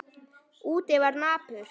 Úti var napurt.